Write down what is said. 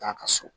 Taa ka so